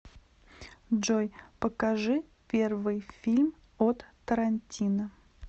джой покажи первый фильм от тарантино